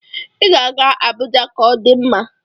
Ị ga-aga Abuja ka ọ dị mma.